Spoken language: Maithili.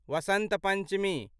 वसन्त पंचमी